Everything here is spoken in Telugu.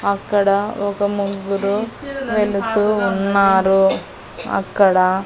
అక్కడా ఒక ముగ్గురు వెళ్తూ ఉన్నారూ అక్కడా--